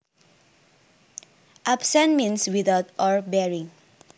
Absent means without or barring